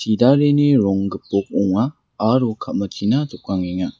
chidareni rong gipok ong·a aro ka·machina jokangenga.